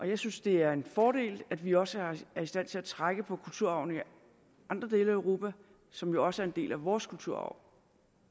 jeg synes det er en fordel at vi også er i stand til at trække på kulturarven i andre dele af europa som jo også er en del af vores kulturarv